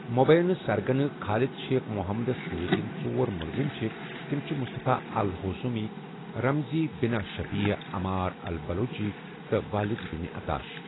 مُبینہ سرگنہ، Khalid Sheikh محمدس سۭتۍ یِم ژور مُلزِم چھِ، تِم چھِ Mustafa al Hawsawi, Ramzi bin al Shibh, Ammar al Baluchi, تہٕ والِد بِن عطاش۔